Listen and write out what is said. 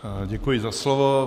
Děkuji za slovo.